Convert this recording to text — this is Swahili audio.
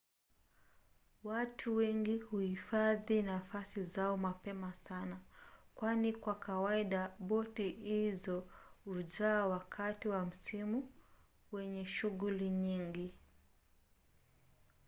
watu wengi huhifadhi nafasi zao mapema sana kwani kwa kawaida boti hizo hujaa wakati wa msimu wenye shughuli nyingi